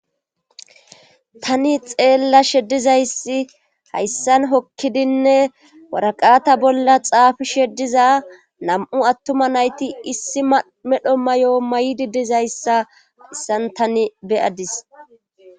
Tani xeella sheddizayssi hayssan hokkidinne waraqata bolla xaafi sheddiza nam7u attuma nayti issi medho may7o maydidizayssa issan tani beyadis.